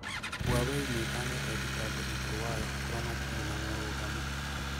Huawei niikanite thitango igũrũ wayo okro matiri na mũrũgamo.